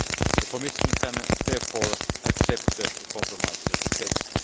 The Commission can, therefore, accept the compromise text.